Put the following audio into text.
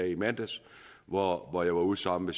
i mandags hvor hvor jeg var ude sammen